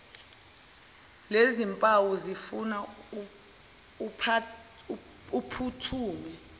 lezimpawu zifuna uphuthume